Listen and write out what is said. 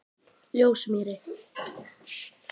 Ljósumýri